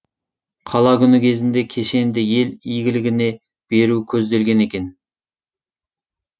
қала күні кезінде кешенді ел игілігіне беру көзделген екен